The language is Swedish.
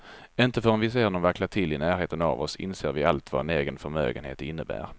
Inte förrän vi ser någon vackla till i närheten av oss inser vi allt vad en egen förmögenhet innebär.